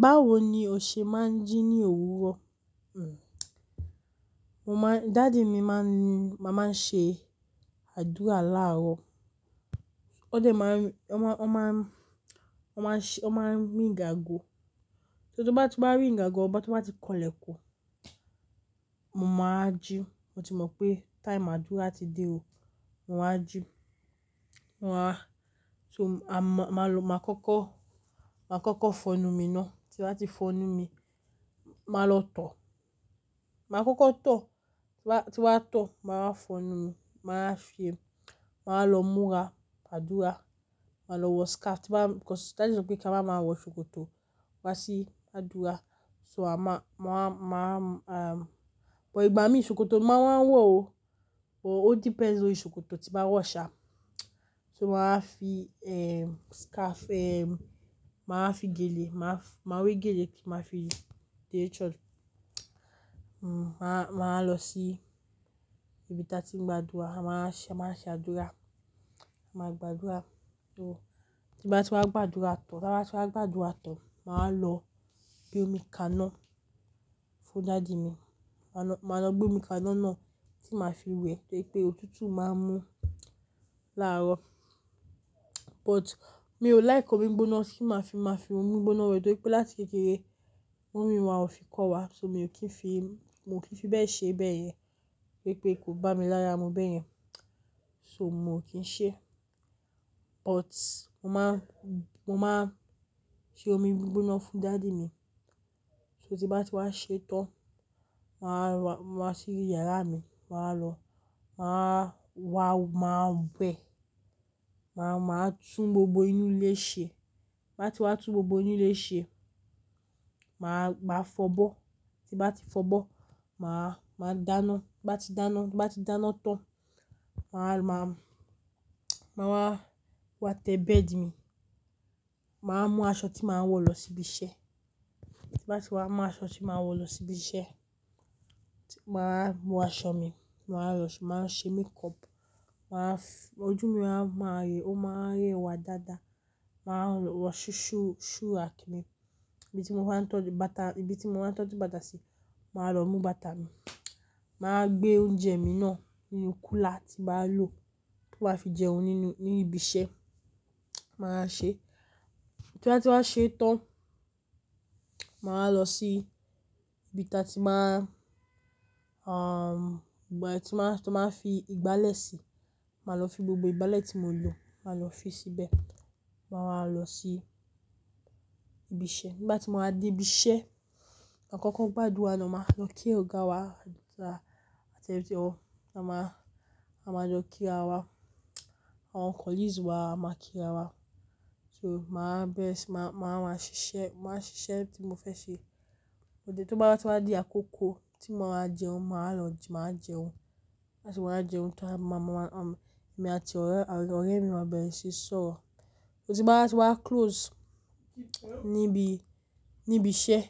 Báwo ni o ṣe máa ń jí ní òwúrò? Dádi mi máa ń mama nṣe àdúrà láàrọ̀, wón de maa n, won n ma won ma se, won máa n ríngi àgo, ton bá ti wa ringi àgo won tan, ti won bá ti kọlẹ̀kun, mo máa aa jí, mo ti mọ̀ pé time àdúrá ti dé o. Mo wa jí, mo wa so, a ma ma lo, màá kọ́kọ́, maa koko fọnú mi náà, ti bá ti fọnú mi, màá lọ tọ̀, ma koko. Ti bá tò, màá fọnú mi, màá fi e, màá lọ múra àdúrà, màá lọ wọ scarf, because dádi mi sọ pé kí awa ma wọ̀ ṣòkòtò wá sí àdúrà, ma ma ma, ehm but ìgbà mí ṣòkòtò mo máa wá wọ̀ o, ó dẹ́pend lori ṣòkòtò ti bá wọ̀ ṣa. Màá fi ehn scarf, ehn màá fi gèlé, mafi màá wè gèlé máa fi dé ẹ church Màá lọ sí ibi ta ti ń gba àdúrà, a máa ṣe àdúrà, a máa gba àdúrà tan, Ti bá ti wá gba àdúrà tán, màá lọ gbé omi kaná fún dádi mi, màá lọ gbé omi kaná náà ti máa fi wẹ̀, torí pé òtútù máa ń mú láàrọ̀. But mi ò like omi gboná tí máa fi ma fomi gboná wẹ̀ dò pé láti kékeré, momi wa ò fi kọ́ wa, so mo kì í fi mò ki fí bẹ́ẹ̀ ṣe bẹ́ẹ̀ yẹn, wipé kò bá mi lárá mú bẹ́ẹ̀ yẹn, so mo kì í ṣe. But mo maa n mo maa n ṣe omi gbigbona fún dádi mi. Ti bá ti wá ṣe tán, màá lo wá sí yàrá mi, màá lọ, ma wa wa ma wẹ̀, màá maa tún gbogbo inú ilé ṣe. Ti bá ti wá tún gbogbo inú ilé ṣe, màá a maa fọbọ́, ti bá ti fọ bọ́, màá dáná, ti bá ti dáná ti ba ti dana tán, ma wa ma màá wá wa tẹ béẹ̀dì mi, màá mú aṣọ ti máa wọ̀ lọ sí ibi iṣẹ́. Ti bá ti wá mú aṣọ ti máa wọ̀ lọ sí ibi iṣẹ́, màá mú aṣọ mi, màá lọ màá ṣe makeup, maa ojú mi a máa o ma wa rẹwá dáadáa, màá wọ ṣúu ṣùu suu àti mi. Ibi ti mo máa ń tọjú bàtà, ibi ti mo maa n toju bata sí, màá lọ mú bàtà mi, màá gbé oúnjẹ mi náà nínú kúlà ti bá lò tí máa fi jẹun nínú nibi iṣẹ́, màá wa ṣe. Ti bá ti wá ṣe tán, màá lọ sí ibi ta ti ma n tí wọ́n máa ti won maa n fi ìgbálẹ̀ sí, màá lọ fi gbogbo ìgbálẹ̀ tí mo lò, màá lọ fi sí bẹ́ẹ̀, màá wa lọ sí ibi iṣẹ́. Nígbà tí mo bá dé ibi iṣẹ́, makọ́kọ́ gbadúrà naa, máa lọ kí ọ̀gá wa àti ẹntíọ́, a máa lọ kí ara wa, àwọn colleagues wa a máa kí ara wa. Màá bẹ̀rẹ̀ sí máa, ma wa ma ṣiṣẹ́, màá ṣiṣẹ́ ti mo fẹ́ ṣe. Òde tó bá ti wá di àkókó ti mo máa jẹun, màá lọ jẹun. Nigba ti wá jẹun tán, èmi àti ọ̀rẹ́ a mi á bẹ̀rẹ̀ sí soro Ti bá ti wá close ní ibi iṣẹ́,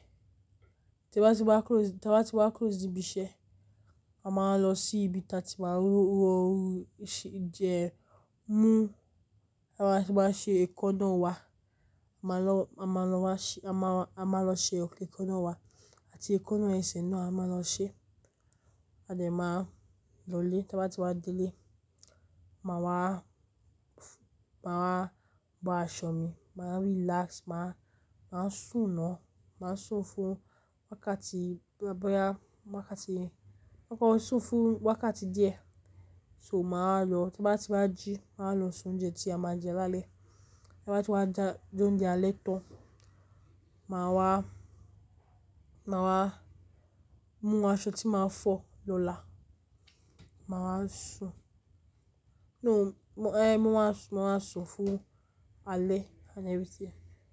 ta ba ti wa kuro, ta ba ti wa close nibi ise, a máa lọ sí ibi ta ti máa ń rú oorún jẹun mú, a máa a maṣe ẹ̀kanna wa, a máa lọ, a ma lo wa se, a maa, a maa lo se ekanna wa ti ẹ̀kanna ese naa a máa lọ ṣe. À de máa lọ ilé, ti bá ti wá dé ilé, màá wa maa wa bo aṣọ mi, màá relax, màá sún náà, màá sún fún wákàtí díẹ̀, boya wakati me, maa sun fun wakati die, so maa. Ti bá ti wá jí, màá lọ se oúnjẹ tí a máa jẹ lálẹ́. Ti bá ti wá jẹ oúnjẹ alẹ́ tán, màá wá, maa wa mú aṣọ ti máa fọ́ lọ́là, màá sún fún alẹ́ and everything.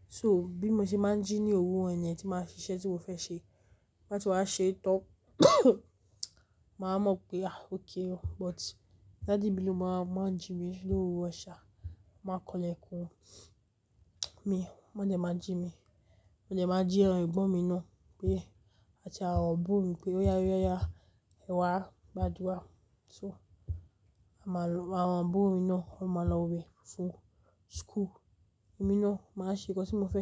So bí mo ṣe máa ń jí ní òwúrò niyen, ti máa fi ṣe iṣẹ́ ti mo fẹ́ ṣe, tí mo bá ti wá ṣe tán, màá mọ̀ pé "ah, okay o". But dádi mi ló máa ń jí mi ní òwúrò ṣà, má kọlẹ̀ kùn ó. Won de máa jí mi, mó de máa jí awon egbon mi náà pé, àti àwon aburo mi pé, "oya, oya, oya, ẹ̀wá gba àdúrà". Àwọn aburo mi náà, wọ́n máa lọ wẹ̀ fún school, èmi náà máa ṣe nǹkan tí mo fẹ́ ṣe.